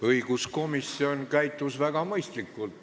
Õiguskomisjon käitus väga mõistlikult.